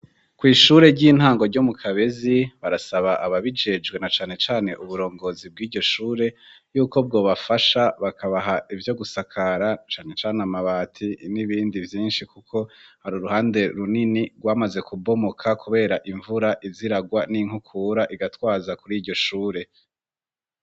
Kw'ishure ry'intango ryo mu kabezi barasaba aba bijejwe na canecane uburongozi bw'iryo shure yuko bwo bafasha bakabaha ivyo gusakara canecane amabati n'ibindi vyinshi, kuko hari uruhande runini rwamaze kubomoka, kubera imvura iziragwa n'inkukura igatwaza kuri iryo shure.